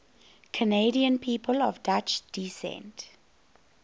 canadian people of dutch descent